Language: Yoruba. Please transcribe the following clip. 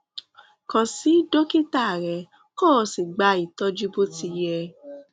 kàn sí dókítà rẹ kí o sì gba ìtọjú bó ti yẹ